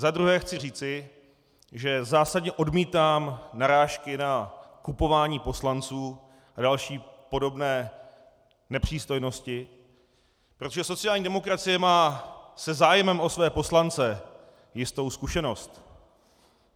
Za druhé chci říci, že zásadně odmítám narážky na kupování poslanců a další podobné nepřístojnosti, protože sociální demokracie má se zájmem o své poslance jistou zkušenost.